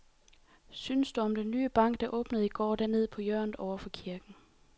Hvad synes du om den nye bank, der åbnede i går dernede på hjørnet over for kirken?